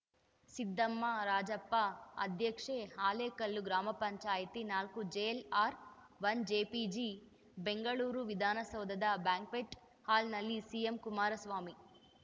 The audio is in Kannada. ಸಿದ್ದಮ್ಮ ರಾಜಪ್ಪ ಅಧ್ಯಕ್ಷೆ ಹಾಲೇಕಲ್ಲು ಗ್ರಾಮ ಪಂಚಾಯತಿ ನಾಲ್ಕು ಜೆಎಲ್‌ಆರ್‌ ಒನ್ ಜೆಪಿಜಿ ಬೆಂಗಳೂರು ವಿಧಾನಸೌಧದ ಬ್ಯಾಂಕ್ವೆಟ್‌ ಹಾಲ್‌ನಲ್ಲಿ ಸಿಎಂಕುಮಾರಸ್ವಾಮಿ